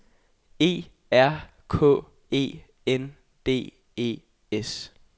E R K E N D E S